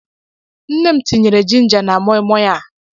Nne m tinyere ginga na moi moi a.